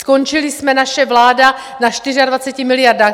Skončili jsme, naše vláda, na 24 miliardách.